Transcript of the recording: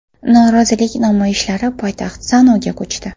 Norozilik namoyishlari poytaxt Sanoga ko‘chdi.